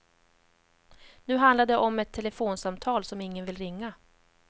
Nu handlar det om ett telefonsamtal som ingen vill ringa.